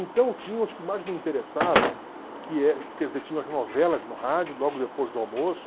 Então tinha os que mais me interessavam, que é quer dizer, tinha as novelas no rádio logo depois do almoço,